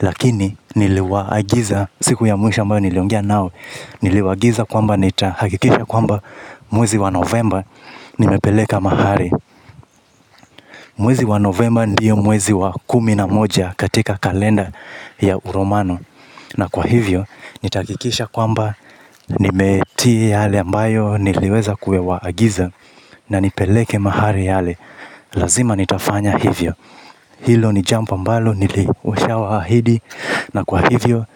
lakini niliwaagiza siku ya mwisho ambayo niliongea nao. Niliwaagiza kwamba nitahakikisha kwamba mwezi wa novemba nimepeleka mahari. Mwezi wa novemba ndiyo mwezi wa kumi na moja katika kalenda. Ya uromano na kwa hivyo nitahakikisha kwamba nimetii yale ambayo niliweza kuwaagiza. Na nipeleke mahari yale lazima nitafanya hivyo. Hilo ni jambo ambalo nilisha waahidi. Na kwa hivyo